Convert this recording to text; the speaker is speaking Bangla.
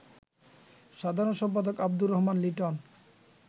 সাধারণ সম্পাদক আব্দুর রহমান লিটন